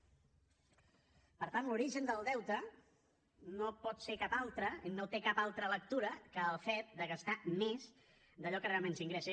per tant l’origen del deute no pot ser cap altre no té cap altra lectura que el fet de gastar més d’allò que realment s’ingressa